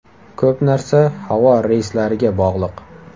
Ko‘p narsa havo reyslariga bog‘liq.